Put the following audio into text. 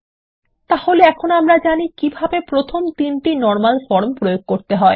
তাহলে এখন আমরা জানি কিভাবে প্রথম তিনটি নরমাল ফরম প্রয়োগ করতে হয়